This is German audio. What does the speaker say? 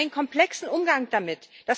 Wir brauchen einen komplexen Umgang damit.